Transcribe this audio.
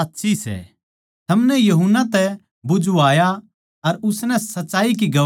थमनै यूहन्ना तै बुझवाया अर उसनै सच्चाई की गवाही दी सै